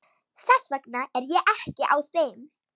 Þess vegna er ég ekki á þeim.